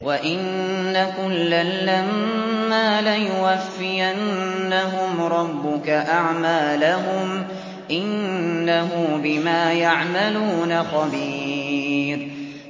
وَإِنَّ كُلًّا لَّمَّا لَيُوَفِّيَنَّهُمْ رَبُّكَ أَعْمَالَهُمْ ۚ إِنَّهُ بِمَا يَعْمَلُونَ خَبِيرٌ